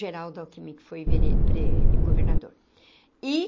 Geraldo Alckmin, que foi vere eh governador e.